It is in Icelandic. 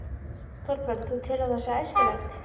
Þorbjörn: Þú telur að það sé æskilegt?